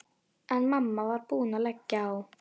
En mamma var búin að leggja á.